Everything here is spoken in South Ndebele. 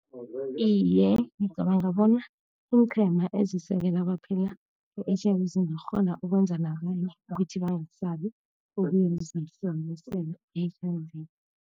Iye, ngicabanga bona iinqhema ezisekela abaphila nge-H_I_V zingakghona ukwenza nabanye ukuthi bangasabi ukuyozihlolisela i-H_I_V.